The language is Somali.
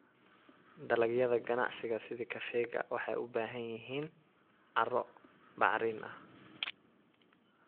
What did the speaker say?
Dalagyada ganacsiga sida kafeega waxay u baahan yihiin carro bacrin ah.